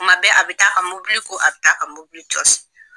Kuma bɛɛ a bɛ taa a ka mobili ko a bɛ taa a ka mobili jɔsi.